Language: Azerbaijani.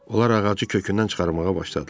Onlar ağacı kökündən çıxarmağa başladılar.